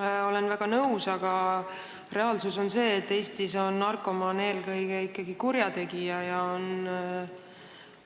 Olen sellega väga nõus, aga reaalsus on see, et Eestis on narkomaan eelkõige ikkagi kurjategija,